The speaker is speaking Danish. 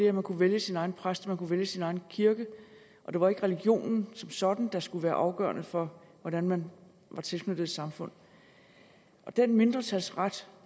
at man kunne vælge sin egen præst og man kunne vælge sin egen kirke og det var ikke religionen som sådan der skulle være afgørende for hvordan man var tilknyttet et samfund den mindretalsret